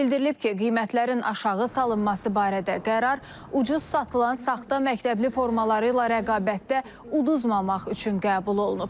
Bildirilib ki, qiymətlərin aşağı salınması barədə qərar ucuz satılan saxta məktəbli formaları ilə rəqabətdə uduzmamaq üçün qəbul olunub.